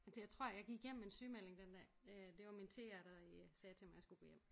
Jeg tror jeg gik hjem med en sygemelding den dag øh det var min TR der sagde til mig jeg skulle gå hjem